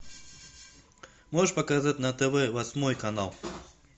можешь показать на тв восьмой канал